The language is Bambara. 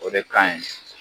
O de kaɲi